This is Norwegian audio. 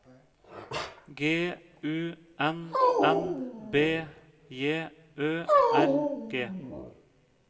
G U N N B J Ø R G